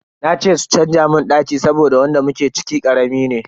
Na ce su canza mun daki saboda wanda muke ciki karami ne.